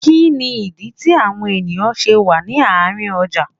Kínní ìdí tí àwọn èèyàn ṣe wà ní àárín ọjà?